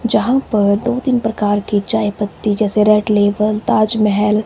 जहां पर दो तीन प्रकार की चाय पत्ती जैसे रेड लेबल ताजमहल--